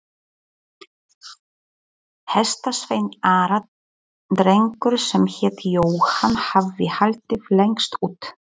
Hestasveinn Ara, drengur sem hét Jóhann, hafði haldið lengst út.